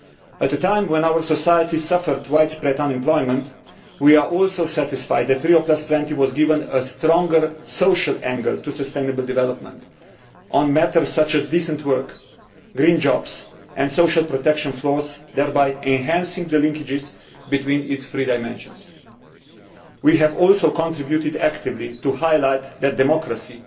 At a time when our society suffers widespread unemployment, we are also satisfied that Rio20 was given a stronger social angle to sustainable development on matters such as decent work, green jobs and social protection floors, thereby enhancing the linkages between its three dimensions. We also contributed actively to highlighting that democracy,